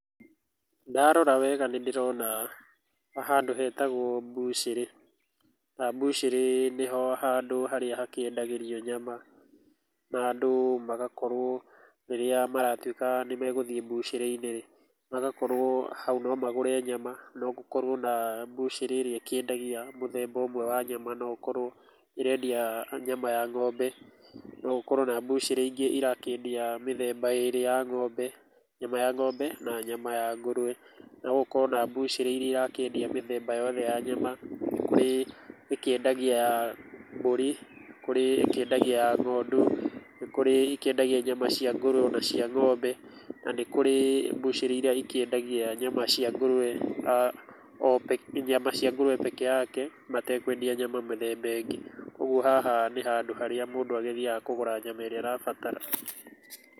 Ndarora wega nĩndĩrona handũ hetagwo mbucĩrĩ, na mbucĩrĩ nĩho handũ harĩa hakĩendagĩrio, nyama na andũ magakorwo rĩrĩa maratuĩka nĩmegũthiĩ mbucĩrĩ-inĩ rĩ, magakorwo hau no magũre nyama, no gũkorwo na mbucĩrĩ ĩrĩa ĩkĩendagia mũthemba ũmwe wa nyama, no gũkorwo ĩrendia nyama ya ng'ombe, no gũkorwo na mbucĩrĩ ingĩ irakĩendia mĩthemba ĩrĩ ya ng'ombe, nyama ya ng'ombe na nyama ya ngũrwe. No gũkorwo na mbucĩrĩ iria irakĩendia mũthemba yothe ya nyama, kũrĩ ĩkĩendagia ya mbũri, kũrĩ ĩkĩendagia ya ng'ondu, nĩ kũrĩ ĩkĩendagia nyama cia ngũrwe o na cia ng'ombe, na nĩkũrĩ mbucĩrĩ irĩa ikĩendagia nyama cia ngũrwe, nyama cia ngũrwe pekee yake, matekwendia nyama mĩthemba ĩngĩ. Ũguo haha nĩ harĩa mũndũ agĩthiaga kũgũra nyama ĩrĩa arabatara.